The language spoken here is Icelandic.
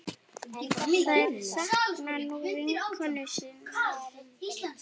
Þær sakna nú vinkonu sinnar.